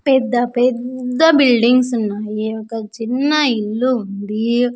పెద్ద పెద్ద బిల్డింగ్స్ ఉన్నాయి ఒక చిన్న ఇల్లు ఉందీ.